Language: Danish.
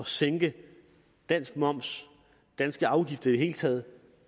sænke dansk moms og danske afgifter i det hele taget